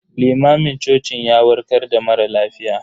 Limamin cocin ya warkar da mara lafiya.